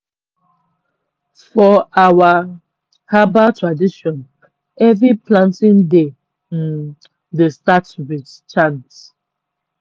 for our herbal tradition every planting day um dey start with chant.